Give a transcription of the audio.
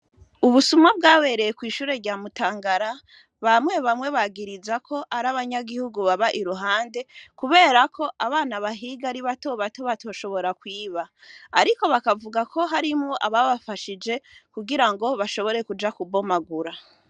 Ubusuma bwabereye kw'ishure rya mutangara bamwe bamwe bagiriza ko ari abanyagihugu baba iruhande, kubera ko abana bahiga ari batoba to batoshobora kwiba, ariko bakavuga ko harimwo ababafashije kugira ngo bashobore kuja kubomagura.